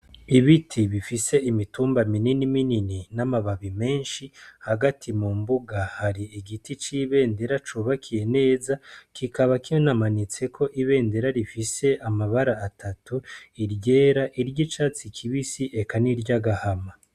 Ibiti bifise imitumba minini minini n'amababi menshi hagati mu mbuga hari igiti c'ibendera cubakiye neza kikaba kinamanitseko ibendera rifise amabara atatu : iryera, iry'icatsi kibisi eka niry'agahama.